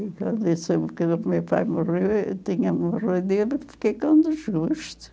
E quando eu soube que o meu pai morreu, tinha morrido fiquei com desgosto.